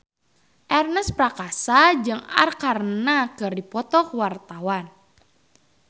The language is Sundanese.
Ernest Prakasa jeung Arkarna keur dipoto ku wartawan